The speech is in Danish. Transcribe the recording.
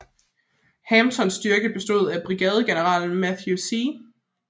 Hamptons styrke bestod af brigadegeneralerne Matthew C